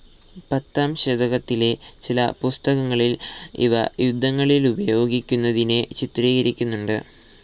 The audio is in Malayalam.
പത്താം ശതകത്തിലെ ചില പുസ്തകങ്ങളിൽ ഇവ യുദ്ധങ്ങളിലുപയോഗിക്കുനതിനെ ചിത്രീകരിക്കുന്നുണ്ട്.